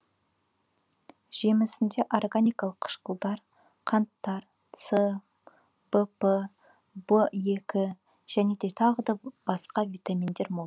жемісінде органикалық қышқылдар қанттар с вр в екі және тағы басқа витаминдер мол